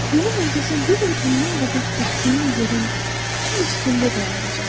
Mənim ulduzum bir il bundan qabaq düşdüyüm yerin düz üstündə dayanacaqdır.”